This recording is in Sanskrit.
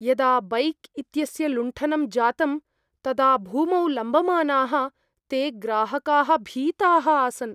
यदा बैङ्क् इत्यस्य लुण्ठनं जातं तदा भूमौ लम्बमानाः ते ग्राहकाः भीताः आसन्।